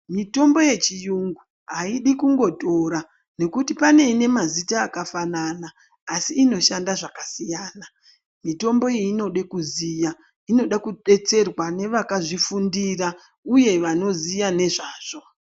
Mitombo yechiyungu aidi kungotora ngokuti pane ine mazita akafanana asi inoshanda zvakasiyana . Mitombo iyi inoda kuziya inoda kudetserwa nevakazvifundira uye vanoziya ngezvazvo .